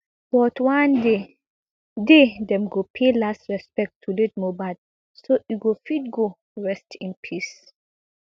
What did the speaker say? but one day day dem go pay last respect to late mohbad so e go fit go rest in peace